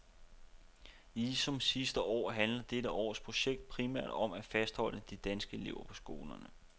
Ligesom sidste år handler dette års projekter primært om at fastholde de danske elever på skolerne.